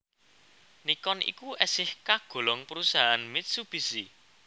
Nikon iku esih kagolong perusahaan Mitsubishi